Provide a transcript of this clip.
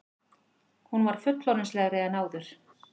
Hún var fullorðinslegri en áður.